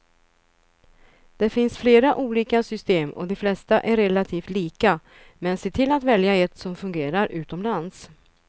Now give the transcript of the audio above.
Det finns flera olika system och de flesta är relativt lika, men se till att välja ett som fungerar utomlands.